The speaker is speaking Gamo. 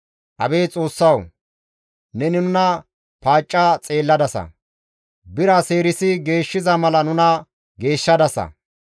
Abeet Xoossawu! Neni nuna paacca xeelladasa; bira seerisi geeshshiza mala nuna geeshshadasa.